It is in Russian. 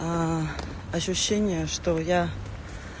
ощущение что я